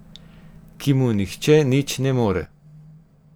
Ki mu nihče nič ne more.